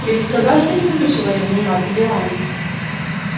я ведь сказал что не хочу сегодня заниматься делами